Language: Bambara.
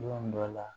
Don dɔ la